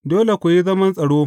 Dole ku yi zaman tsaro.